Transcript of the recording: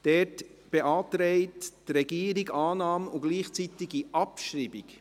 Dort beantragt die Regierung Annahme und gleichzeitige Abschreibung.